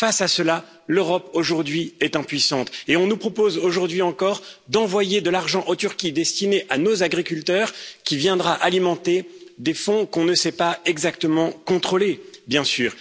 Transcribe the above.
Face à cela, l'Europe, aujourd'hui, est impuissante et on nous propose, aujourd'hui encore, d'envoyer en Turquie de l'argent destiné à nos agriculteurs, qui viendra alimenter des fonds que nous ne savons pas exactement contrôler, bien sûr.